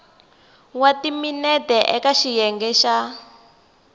wa timinete eka xiyenge xa